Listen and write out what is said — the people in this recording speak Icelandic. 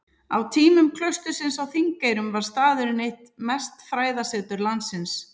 Á tímum klaustursins á Þingeyrum var staðurinn eitt mesta fræðasetur landsins.